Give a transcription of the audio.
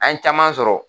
An ye caman sɔrɔ